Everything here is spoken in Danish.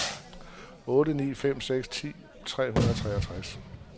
otte ni fem seks ti tre hundrede og toogtres